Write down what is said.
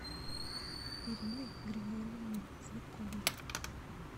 ирины григорьевны цветковой